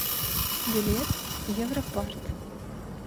билет европарт